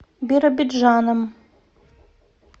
биробиджаном